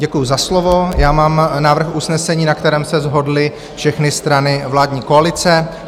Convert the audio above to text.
Děkuju za slovo, já mám návrh usnesení, na kterém se shodly všechny strany vládní koalice.